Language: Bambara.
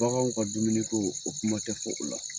Baganw ka dumuniko, o kuma tɛ fɔ o la.